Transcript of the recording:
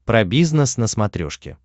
про бизнес на смотрешке